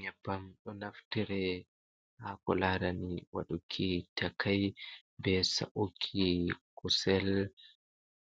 Nyebbam ɗo naftire haa ko laarani waɗuki takai, be sa’uki kusel,